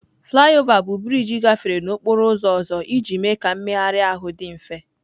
Flyover bụ brịjị gafere n'okporo ụzọ ọzọ iji mee ka mmegharị ahụ dị mfe.